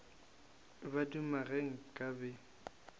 ba duma ge nka be